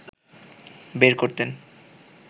বের করতেন